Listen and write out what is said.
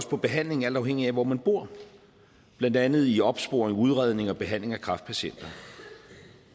på behandlingen alt afhængigt af hvor man bor blandt andet i opsporing udredning og behandling af kræftpatienter